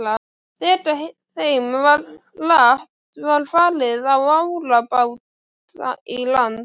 Þegar þeim var lagt var farið á árabát í land.